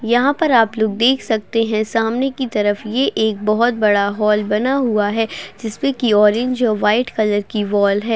यहाँ पर आप लोग देख सकते हैं सामने की तरफ ये एक बहुत बड़ा हॉल बना हुआ है जिसमे की ऑरेंज और व्हाइट कलर की वॉल है।